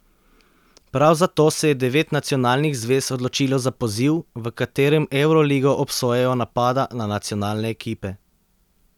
Prav zato se je devet nacionalnih zvez odločilo za poziv, v katerem Evroligo obsojajo napada na nacionalne ekipe.